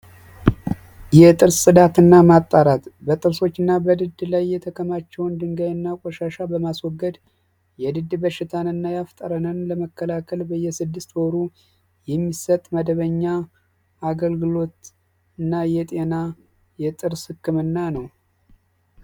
የጥርስ ጽዳት እና ማጣራት በጥርሶች እና በድድ ላይ የተከማቸውን ድንጋይ እና ቈሻሻ በማስወገድ የድድ በሽታን እና ያፍጠረነን ለመከላከል በየስድስት ወሩ የሚሰጥ መደበኛ አገልግሎት እና የጤና የጥርስ ሕክምና ነው።